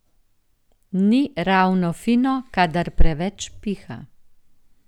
Ni ravno fino kadar preveč piha.